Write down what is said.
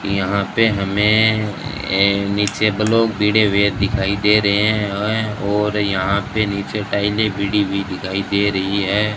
यहां पे हमें अह नीचे ब्लॉक भिड़े हुए दिखाई दे रहे हैं और यहां पे नीचे टाइलें भिड़ी हुई दिखाई दे रही है।